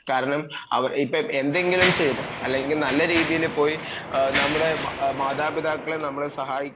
കാരണം ഇപ്പം എന്തെങ്കിലും ചെയ്തു അല്ലെങ്കിൽ നല്ല രീതിയിൽ പോയി നമ്മുടെ മാതാപിതാക്കളെ സഹായിക്കുകയും